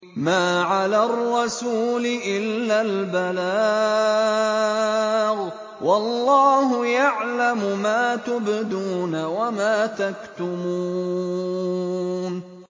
مَّا عَلَى الرَّسُولِ إِلَّا الْبَلَاغُ ۗ وَاللَّهُ يَعْلَمُ مَا تُبْدُونَ وَمَا تَكْتُمُونَ